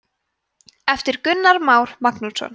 eftir gunnar þór magnússon